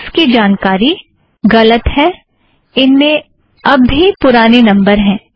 contents की जानकारी गलत है इनमें अब भी पुराने नम्बर हैं